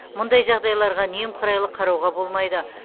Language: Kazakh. мұндай жағдайларға немқұрайлы қарауға болмайды